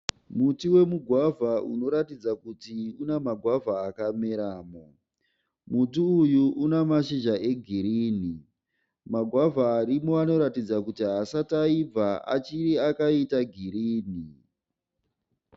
Muti wemugwavha unoratidza kuti una magwavha akameramo. Muti uyu unamashizha e girinhi. Magwavha arimo anoratidza kuti haasati aibva achiri akaita girinhi.